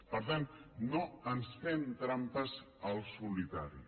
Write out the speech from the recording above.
per tant no ens fem trampes al solitari